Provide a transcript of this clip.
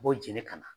U b'o jeni ka na